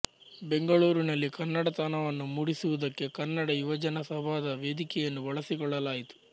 ಬೆಂಗಳೂರಿನಲ್ಲಿ ಕನ್ನಡತನವನ್ನು ಮೂಡಿಸುವುದಕ್ಕೆ ಕನ್ನಡ ಯುವಜನ ಸಭಾದ ವೇದಿಕೆಯನ್ನು ಬಳಸಿಕೊಳ್ಳಲಾಯಿತು